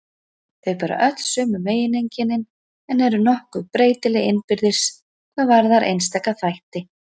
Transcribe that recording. Þau bera öll sömu megineinkennin en eru nokkuð breytileg innbyrðis hvað varðar einstaka þætti.